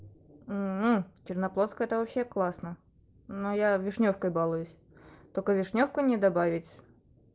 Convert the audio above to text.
мм черноплодка это вообще классно но я вишнёвкой балуюсь только вишнёвку не добавить